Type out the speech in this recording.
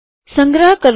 સંગ્રહ કરો